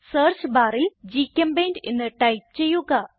search barൽ ഗ്ചെമ്പെയിന്റ് എന്ന് ടൈപ്പ് ചെയ്യുക